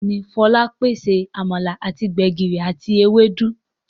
Béèni Folabi pàṣẹ amala àti gbegiri àti Ewédú.